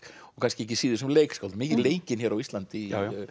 og kannski ekki síður sem leikskáld mikið leikinn hér á Íslandi